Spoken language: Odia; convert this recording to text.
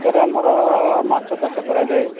sir ଆମର ମାଛ ଚାଷ କରା ଯାଏ|